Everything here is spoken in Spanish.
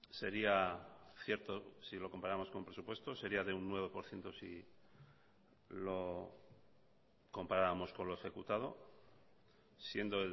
sería cierto si lo comparamos con presupuestos sería de un nueve por ciento si lo comparamos con lo ejecutado siendo